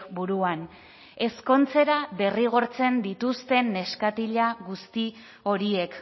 buruan ezkontzera derrigortzen dituzten neskatila guzti horiek